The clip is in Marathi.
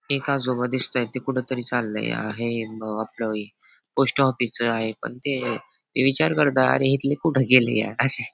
एक आजोबा दिसतायत ते कुठेतरी चाललय आहे ब आपल पोस्ट ऑफिस च आहे पण ते ते विचार करताय अरे इथले कुठे गेले यार अशे --